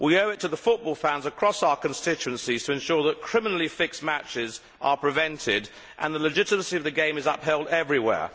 We owe it to the football fans across our constituencies to ensure that criminally fixed matches are prevented and the legitimacy of the game is upheld everywhere.